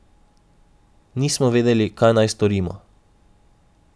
Nismo vedeli, kaj naj storimo.